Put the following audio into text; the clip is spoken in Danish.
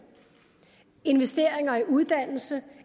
investeringer i uddannelse